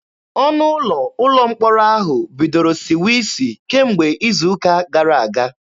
Ọnụ ụlọ ụlọ mkpọrọ ahụ bidoro siwe isi kemgbe izu ụka gara aga.